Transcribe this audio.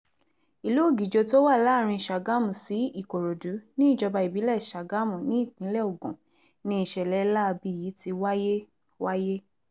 ìlú ọ̀gjọ́ tó wà láàrin sàgámù sí ìkòròdú níjọba ìbílẹ̀ sàgámù nípínlẹ̀ ogun ni ìṣẹ̀lẹ̀ láabi yìí ti wáyé wáyé